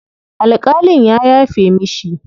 Alƙalin ya yafe mishi.